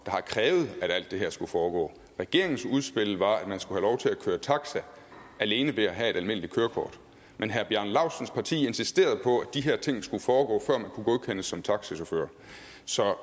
har krævet at alt det her skulle foregå regeringens udspil var at man skulle have lov til at køre taxa alene ved at have et almindeligt kørekort men herre bjarne laustsens parti insisterede på at de her ting skulle foregå før man kunne godkendes som taxachauffør så